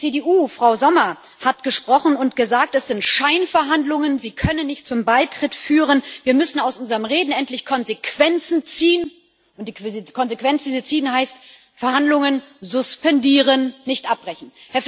Die CDU Frau Sommer hat gesprochen und gesagt Das sind Scheinverhandlungen, sie können nicht zum Beitritt führen, wir müssen aus unserem Reden endlich Konsequenzen ziehen, und die Konsequenzen ziehen heißt Verhandlungen suspendieren, nicht abbrechen.